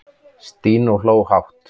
Stína hló hátt.